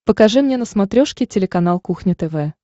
покажи мне на смотрешке телеканал кухня тв